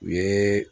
U ye